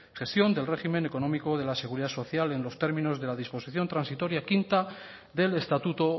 gestión del régimen económico de la seguridad social en los términos de la disposición transitoria quinta del estatuto